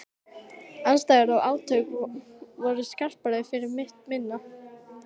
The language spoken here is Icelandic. Andstæður og átök voru skarpari fyrir mitt minni.